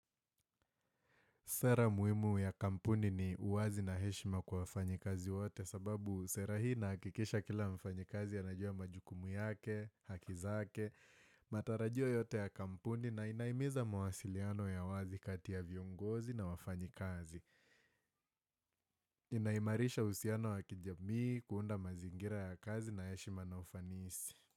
Sera muhimu ya kampuni ni uwazi na heshima kwa wafanyi kazi wote sababu sera hii inahakikisha kila mfanyi kazi anajua majukumu yake, haki zake, matarajio yote ya kampuni na inahimiza mawasiliano ya wazi kati ya viongozi na wafanyi kazi. Inaimarisha uhusiano wa kijamii kuunda mazingira ya kazi na heshima na ufanisi.